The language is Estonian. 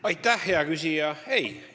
Aitäh, hea küsija!